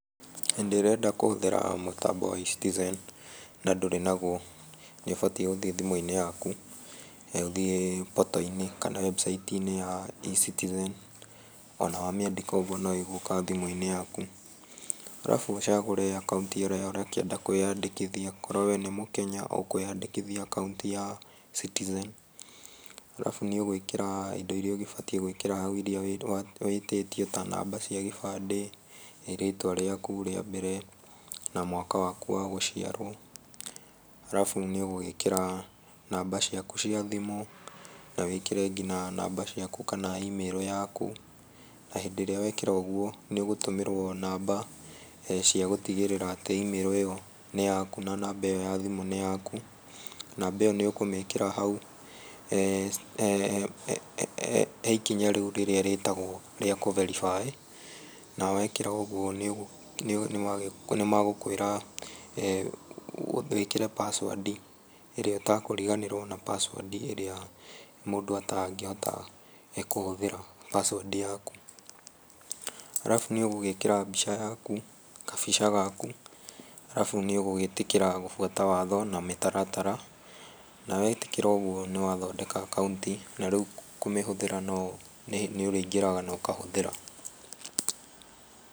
Hĩndĩ ĩrĩa ũrenda kũhũthĩra mtambo wa e-citizen na ndũrĩ naguo nĩũbatiĩ gũthiĩ thimũ inĩ yaku. Ũthiĩ portal -inĩ kana webusaiti -inĩ ya e-citizen onawamĩandĩka ũguo noĩgũka thimũ inĩ yaku. Harabu ũcagũre akauti yaku ĩrĩa ũrenda kwĩyandĩkithia akorwo wee nĩ mũkenya ũkwĩa dĩkithia akauti ya e-citizen harabu nĩũgwĩkĩra indo irĩa ũbatiĩ gwĩkĩra kana wĩtĩtio ta namba cia gĩbandĩ, rĩtwa rĩaku rĩa mbere na mwaka waku wagũciarwo. Harabu nĩũgwĩkĩra namba ciaku cia thimũ nawĩkĩre namba ciaku cia kana email yaku na hĩndĩrĩa wekĩra ũguo nĩũgũtũmĩrwo namba cia gũtigĩrĩra atĩ imĩrũ nĩyaku namba yathimũ nĩyaku .Namba ĩo nĩũkũmĩkĩra hau heikinya rĩu rĩtagwo rĩa gũberibaĩ na wekĩra ũguo nĩmagũkwĩra pasuadi ĩrĩa ũtakũriganĩrwo pasuadi ĩrĩa mũndũ atangĩhota kũhũthĩra pasuandi yaku. Harabu nĩũgwĩkĩra mbica yaku gabica gaku harabu nĩũgwĩtĩkĩra gũbuata watho na mĩtaratara na wetĩkĩra nĩ wa thondeka akauti na rĩu kũmĩhũthĩra nĩũrĩi ngĩraga naũkamĩhũthĩra.